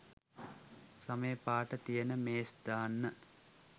සමේ පාට තියන මේස් දාන්න.